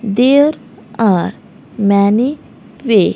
दिल आ मैने पे --